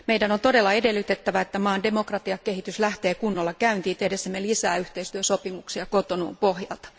Meidän on todella edellytettävä, että maan demokratiakehitys lähtee kunnolla käyntiin tehdessämme lisää yhteistyösopimuksia Cotonoun pohjalta.